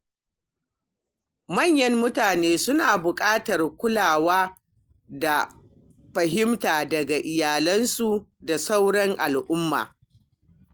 Manyan mutane suna buƙatar kulawa da fahimta daga iyalansu da sauran al-umma.